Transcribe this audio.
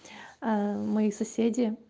мои соседи